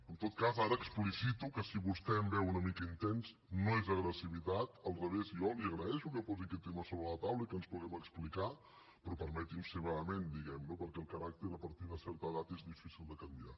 en tot cas ara explicito que si vostè em veu una mica intens no és agressivitat al revés jo li agraeixo que posi aquest tema sobre la taula i que ens puguem explicar però permeti’m ser vehement diguemne perquè el caràcter a partir de certa edat és difícil de canviar